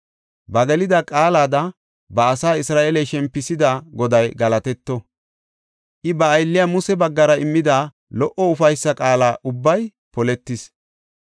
“Ba gelida qaalada ba asa Isra7eele shempisida Goday galatetto; I ba aylliya Muse baggara immida lo77o ufaysa qaala ubbay poletis.